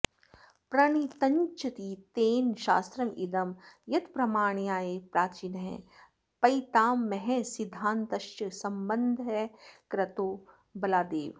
प्रणीतञ्च तेन शास्त्रमिदं यत्प्रामाण्याय प्राचीनः पैतामहसिद्धान्तश्च सम्बद्धः कृतो बलादेव